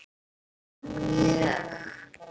Já, mjög